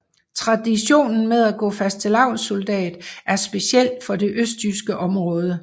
Traditionen med at gå fastelavnssoldat er speciel for det østjyske område